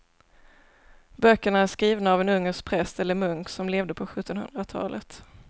Böckerna är skrivna av en ungersk präst eller munk som levde på sjuttonhundratalet.